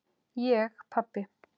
Ég pabbi!